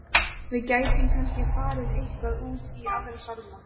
Við gætum kannski farið eitthvað út í Aðra sálma.